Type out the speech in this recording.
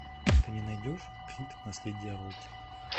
ты мне найдешь крид наследие рокки